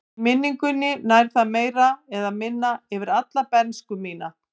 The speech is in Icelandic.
Í minningunni nær það meira eða minna yfir alla bernsku mína.